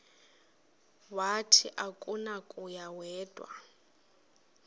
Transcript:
wathi akunakuya wedw